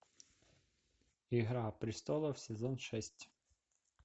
игра престолов сезон шесть